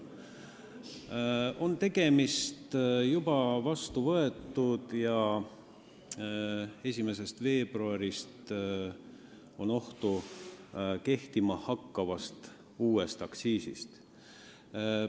Meil on tegemist juba vastu võetud ja on oht, et 1. veebruarist kehtima hakkava uue aktsiisiga.